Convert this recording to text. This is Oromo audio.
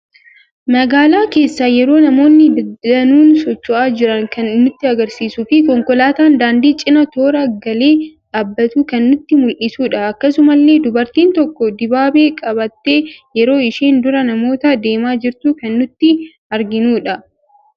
Magaala keessa yeroo namoonni danuun socho'aa jiran kan nutti agarsiisuu fi konkoolaatan daandii cina toora galee dhabbatu kan nutti muldhisudha. Akkasumallee dubartiin tokko dibaabee qabatte yeroo isheen dura namoota deema jirtu kan nuti arginudha.